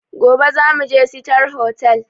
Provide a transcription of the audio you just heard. Gobe zamuje sitar hotal